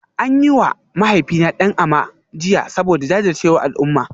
An yi wa mahaifina "Dan Ama" jiya saboda jajircewar al'umma